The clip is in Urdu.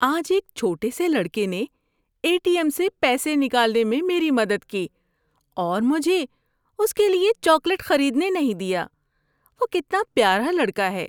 آج ایک چھوٹے سے لڑکے نے اے ٹی ایم سے پیسے نکالنے میں میری مدد کی اور مجھے اس کے لیے چاکلیٹ خریدنے نہیں دیا۔ وہ کتنا پیارا لڑکا ہے۔